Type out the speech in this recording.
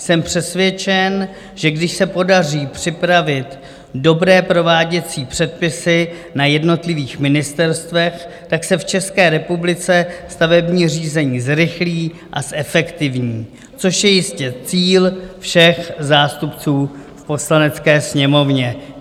Jsem přesvědčen, že když se podaří připravit dobré prováděcí předpisy na jednotlivých ministerstvech, tak se v České republice stavební řízení zrychlí a zefektivní, což je jistě cíl všech zástupců v Poslanecké sněmovně.